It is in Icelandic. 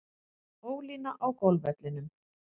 Ólína á golfvellinum.